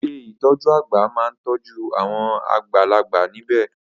Ilé ìtọjú àgbà máa n tọ́jú awon àgbàlagbà níbẹ̀.